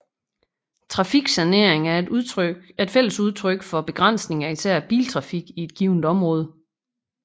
Trafiksanering er et fælles udtryk for begrænsning af især biltrafik i et givent område